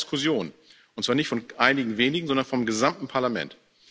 Das braucht Diskussion, und zwar nicht von einigen wenigen, sondern vom gesamten Parlament.